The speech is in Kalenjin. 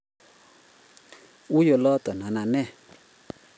Ui oldo notok anan nee